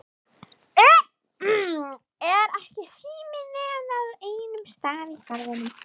Er ekki sími nema á einum stað í Garðinum?